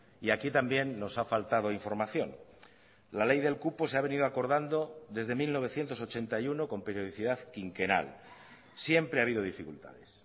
y aquí también nos ha faltado información la ley del cupo se ha venido acordando desde mil novecientos ochenta y uno con periodicidad quinquenal siempre ha habido dificultades